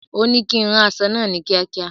Òní kí ń rán aṣọ náà ni kiakia